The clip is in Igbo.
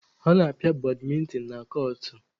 A na-apịa badmịntịn na kọọtụ.